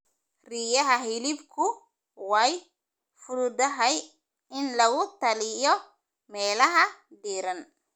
Riyaha hilibku way fududahay in lagu taliyo meelaha diiran.